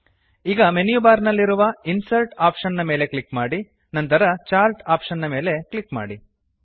ಈಗ menu bar ನಲ್ಲಿರುವ insert option ಮೇಲೆ ಕ್ಲಿಕ್ ಮಾಡಿ ನಂತರ ಚಾರ್ಟ್ ಆಪ್ಷನ್ ಮೇಲೆ ಕ್ಲಿಕ್ ಮಾಡಿ